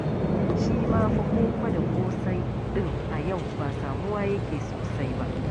Shi ma fa koko da ƙosai ɗin a yau ba samuwa yake sosai ba.